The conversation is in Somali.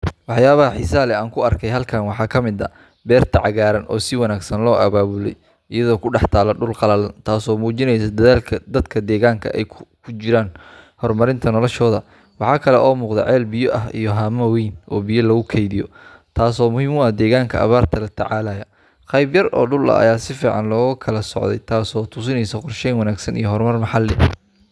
Waxyaabaha xiisaha leh ee aan ku arkay halkan waxaa ka mid ah beerta cagaaran oo si wanaagsan loo abaabulay iyadoo ku dhex taalla dhul qallalan, taasoo muujinaysa dadaalka dadka deegaanka ay ugu jiraan horumarinta noloshooda. Waxa kale oo muuqda ceel biyo ah iyo haamo waaweyn oo biyo lagu kaydiyo, taasoo muhim u ah deegaanka abaarta la tacaalaya. Qaybo yar oo dhul ah ayaa si fiican loo kala soocay, taasoo tusinaysa qorsheyn wanaagsan iyo horumar maxalli ah.